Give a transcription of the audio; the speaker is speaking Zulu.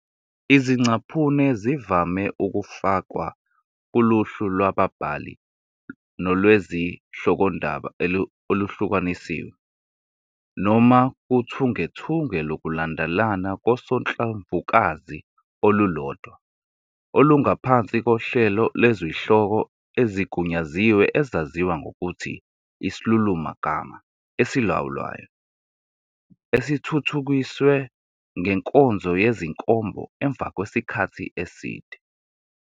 Izingcaphuno zivame ukufakwa kuluhlu lwababhali nolwezihlokondaba oluhlukanisiwe, noma kuthungethunge lokulandelana kosonhlamvukazi olulodwa olungaphansi kohlelo lwezihloko ezigunyaziwe ezaziwa ngokuthi isilulumagama esilawulwayo, esithuthukiswe ngenkonzo yezinkombo emva kwesikhathi eside.